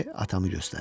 B atamı göstərir.